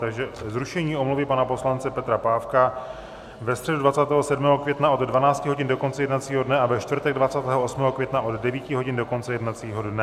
Takže zrušení omluvy pana poslance Petra Pávka ve středu 27. května od 12 hodin do konce jednacího dne a ve čtvrtek 28. května od 9 hodin do konce jednacího dne.